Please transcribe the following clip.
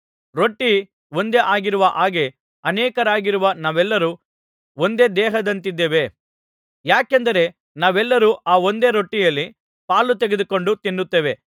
ರೊಟ್ಟಿ ಒಂದೇ ಆಗಿರುವ ಹಾಗೆ ಅನೇಕರಾಗಿರುವ ನಾವೆಲ್ಲರು ಒಂದೇ ದೇಹದಂತಿದ್ದೇವೆ ಯಾಕೆಂದರೆ ನಾವೆಲ್ಲರೂ ಆ ಒಂದೇ ರೊಟ್ಟಿಯಲ್ಲಿ ಪಾಲು ತೆಗೆದುಕೊಂಡು ತಿನ್ನುತ್ತೇವೆ